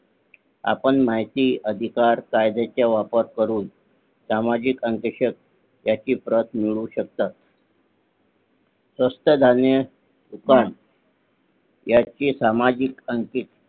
आपण माहिती अधिकार कायद्याचा वापर करून सामाजिक आणि ह्याची प्रत मिळवू शकतात स्वस्त धान्य दुकान ह्याची सामाजिक अंकित